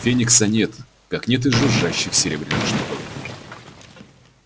феникса нет как нет и жужжащих серебряных штуковин